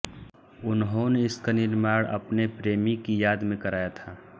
उन्होंने इसका निर्माण अपने प्रेमी की याद में कराया था